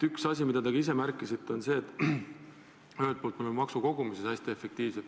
Üks asi, mida ka teie märkisite, on see, et ühelt poolt me oleme maksukogumises hästi efektiivsed.